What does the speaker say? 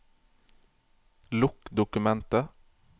Lukk dokumentet